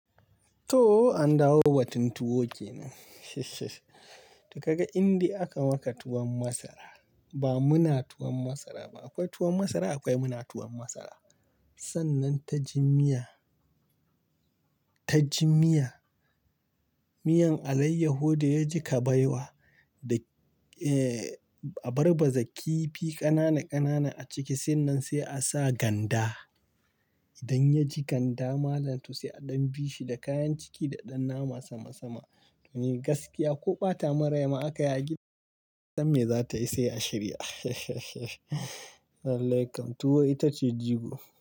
To, an dawo batun tuwo ke nan. Da kaga indi aka maka tuwon masara, ba muna tuwon masara ba. Akwai tuwon masara akwai muna tuwon masara. Sannan ta ji miya, ta ji miya. Miyan alayyaho da ya ji kabaiwa da,, a barba zaki fi ƙanana ƙanana a ciki, sannan sai a sa ganda. Idan ya ji ganda, malam tu sai a ɗan bi shi da kayan ciki da ɗan nama sama sama. To, ne gaskiya ko ɓata marai ma aka ya gida, san me za ta yi sai a shirya. Lallakam tuwo ita ce jigo.